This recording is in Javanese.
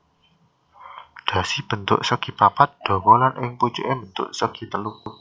Dhasi bentuké segipapat dawa lan ing pucuké mbentuk segitelu